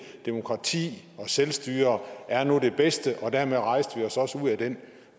demokrati og selvstyre nu er det bedste og dermed rejste vi os også ud af den